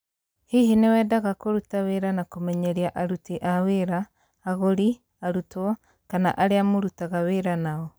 Hihi nĩ wendaga kũruta wĩra wa kũmenyeria aruti a wĩra, agũri, arutwo, kana arĩa mũrutaga wĩra nao?